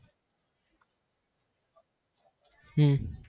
હમ